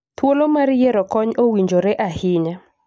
Thuolo mar yiero kony owinjore ahinya